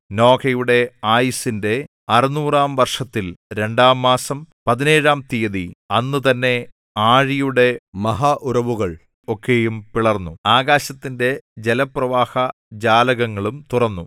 നോഹയുടെ ആയുസ്സിന്റെ അറുനൂറാം വർഷത്തിൽ രണ്ടാം മാസം പതിനേഴാം തീയതി അന്നുതന്നെ ആഴിയുടെ മഹാ ഉറവുകൾ ഒക്കെയും പിളർന്നു ആകാശത്തിന്റെ ജലപ്രവാഹ ജാലകങ്ങളും തുറന്നു